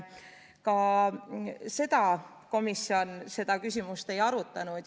Ka seda küsimust komisjon ei arutanud.